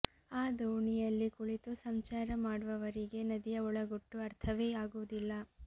ಆ ದೋಣಿಯಲ್ಲಿ ಕುಳಿತು ಸಂಚಾರ ಮಾಡುವವರಿಗೆ ನದಿಯ ಒಳಗುಟ್ಟು ಅರ್ಥವೇ ಆಗುವುದಿಲ್ಲ